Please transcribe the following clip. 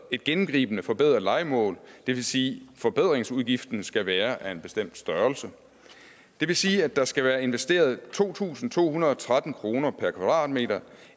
et gennemgribende forbedret lejemål det vil sige at forbedringsudgiften skal være af en bestemt størrelse det vil sige at der skal være investeret to tusind to hundrede og tretten kroner per kvadratmeter